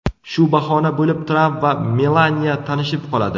Shu bahona bo‘lib Tramp va Melaniya tanishib qoladi.